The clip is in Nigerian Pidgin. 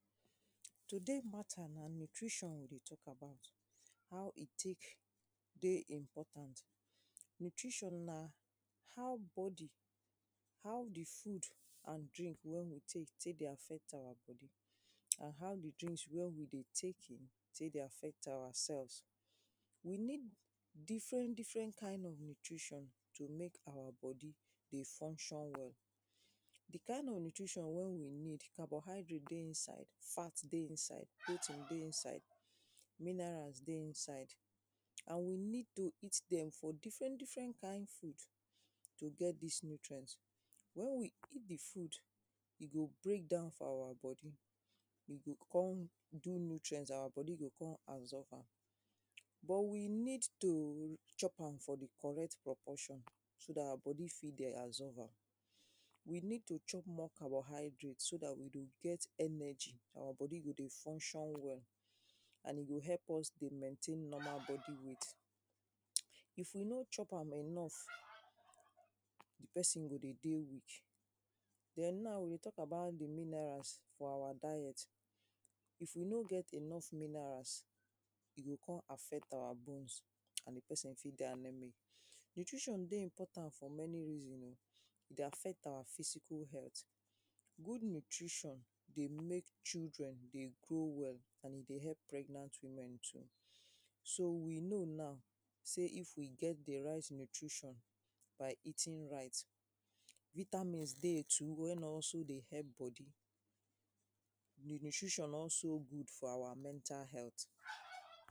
Today matter, na nutrition we dey talk about. How e take dey important. Nutrition na how body, how di food and di drink wey we take take dey affect our body. And how di drink wen we dey take in, take dey affect our cells. We need different different kind of nutrition, to make our body dey function well. Di kind of nutrition wey we need carbohydrate dey inside, fat dey inside, protein dey inside, minerals dey inside, and we need to eat dem from different different kind foods. To get dis nutirnt, wen we eat di food, e go break down for our body, e go come do nutrients, our body go come absorb am, but we need to chop am for di correct proportion so dat our body fit dey absorb am. We need to chop more carbohydrate so dat we go get more energy, our body go function well. And e go help us dey maintain normal body weight. If we no chop am enough, di person go dey dey weak. Den now we dey talk about di minerals for our diet, if we no get enough minerals, e go come affect our bones and di erson fit dey anaemia. Nutritions dey important for many reason oh, e dey affect our physical health. Good nutrition dey make children dey grow well and e dey help pregnant women too. So we know now sey if we get di right nutrition by eating right. Vitamins dey too wey also dey help body, di nutrition also good for our mental health.